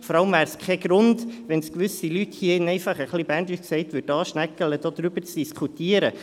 Vor allem wäre es kein Grund, wenn es gewisse Leute hier drin – Berndeutsch gesagt – «aschnäggele» würde, darüber zu diskutieren.